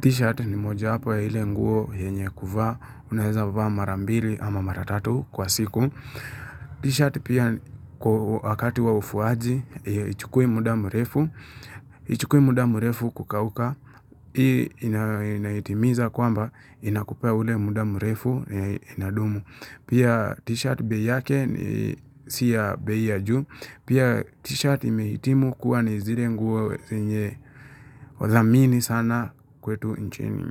T-shirt ni mojawapo ya ile nguo yenye kuvaa. Unaeza vaa marambili ama maratatu kwa siku. T-shirt pia kwa wakati wa ufuaji. Haichukui muda mrefu. Haichukui muda mrefu kukauka. Hii inaitimiza kwamba inakupea ule muda mrefu inadumu. Pia t-shirt bei yake ni si ya bei ya juu. Pia t-shirt imeitimu kuwa ni zile nguo zenye wa zamini sana kwetu nchini.